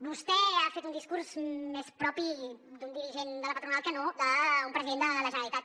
vostè ha fet un discurs més propi d’un dirigent de la patronal que no d’un president de la generalitat